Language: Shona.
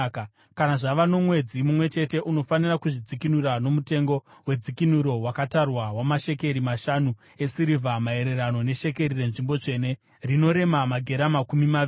Kana zvava nomwedzi mumwe chete, unofanira kuzvidzikinura nomutengo wedzikinuro wakatarwa wamashekeri mashanu esirivha, maererano neshekeri renzvimbo tsvene, rinorema magera makumi maviri.